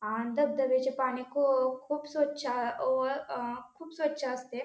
आन धबधब्याचे पानी खू खूप स्वच्छ व खूप स्वच्छ असते.